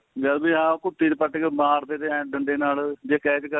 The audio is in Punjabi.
ਜਦ ਵੀ ਹਾਂ ਕੁਪੀ ਚ ਪਟ ਕੇ ਮਾਰਦੇ ਥੇ ਏ ਡੰਡੇ ਨਾਲ ਜੇਜ ਕਰਲੀ ਤਾਂ